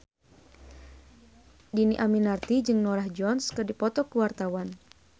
Dhini Aminarti jeung Norah Jones keur dipoto ku wartawan